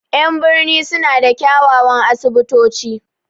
En birni sun na da kiawawan asibito ci